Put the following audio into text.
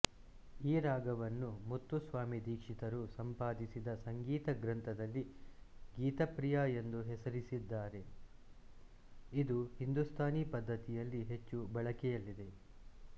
ಈ ರಾಗವನ್ನು ಮುತ್ತುಸ್ವಾಮಿ ದೀಕ್ಷಿತರು ಸಂಪಾದಿಸಿದ ಸಂಗೀತ ಗ್ರಂಥದಲ್ಲಿ ಗೀತಪ್ರಿಯ ಎಂದು ಹೆಸರಿಸಿದ್ದಾರೆ ಇದು ಹಿಂದೂಸ್ತಾನಿ ಪದ್ಧತಿಯಲ್ಲಿ ಹೆಚ್ಚು ಬಳಕೆಯಲ್ಲಿದೆ